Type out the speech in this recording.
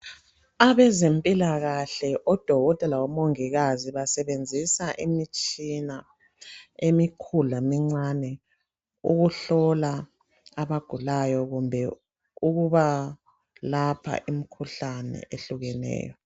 Abezempilakahle, odokotela labamongikazi basebenzisa imitshina emikhulu lemincane ukuhlola abagulayo kumbe ukubalapha imkhuhlane ehlukeneyo.